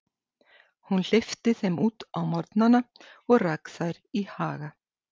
Hún hleypti þeim út á morgnana og rak þær í haga.